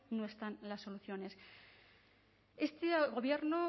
no están las soluciones este gobierno